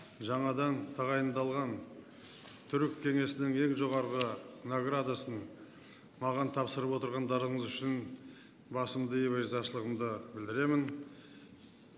жаңадан тағайындалған түрік кеңесінің ең жоғарғы наградасын маған тапсырып отырғандарыңыз үшін басымды иіп өз ризашылығымды білдіремін